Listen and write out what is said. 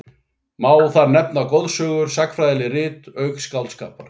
Má þar nefna goðsögur og sagnfræðileg rit, auk skáldskapar.